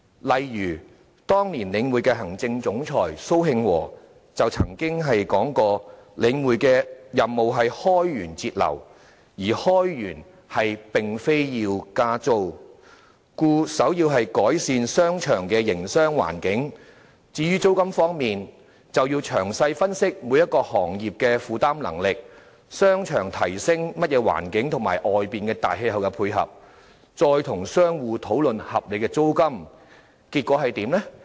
例如，當年領匯的行政總裁蘇慶和曾說領匯的任務是開源節流，而開源並非要加租，故首要之務是改善商場的營商環境；至於租金方面，便要詳細分析每個行業的負擔能力、商場提供的環境和市場的大氣候，再與商戶討論合理的租金水平。